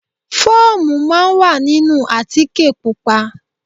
Fóòmù máa ń wà nínú àtíkè Pupa.